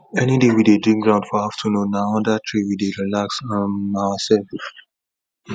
any day we dey dig ground for afternoon na under tree we dey relax um ourselves